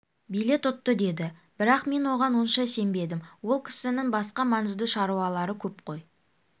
билет ұтты деді бірақ мен оған онша сенбедім ол кісінің басқа маңызды шаруалары көп қой